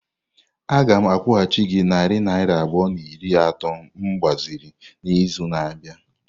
Aga m akwụghachi gị narị naira abụọ na iri atọ m gbaziri n'izu na-abịa.